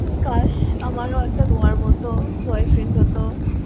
কাশ আমারও একটা Noah র মত boyfriend হত।